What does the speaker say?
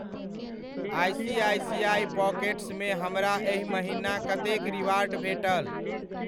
ICICI पॉकेट्समे हमरा एहि महिना कतेक रिवार्ड भेटल?